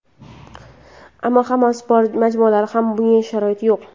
Ammo hamma sport majmualarida ham bunga sharoit yo‘q.